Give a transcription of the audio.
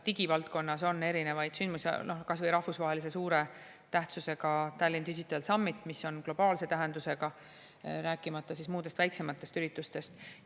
Digivaldkonnas on erinevaid sündmusi, kas või suure rahvusvahelise tähtsusega Tallinn Digital Summit, mis on globaalse tähendusega, rääkimata muudest, väiksematest üritustest.